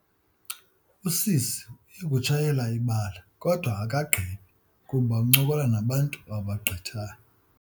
Usisi uye kutshayela ibali kodwa akagqibi kuba uncokola nabantu abagqithayo.